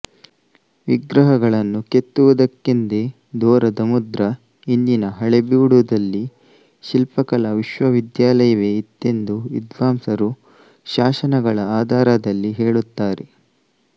ವಿಗ್ರಹಗಳನ್ನು ಕೆತ್ತುವುದಕ್ಕೆಂದೇ ದೋರದಮುದ್ರ ಇಂದಿನ ಹಳೇಬೀಡು ದಲ್ಲಿ ಶಿಲ್ಪಕಲಾ ವಿಶ್ವವಿದ್ಯಾಲಯವೇ ಇತ್ತೆಂದು ವಿದ್ವಾಂಸರು ಶಾಸನಗಳ ಆಧಾರದಲ್ಲಿ ಹೇಳುತ್ತಾರೆ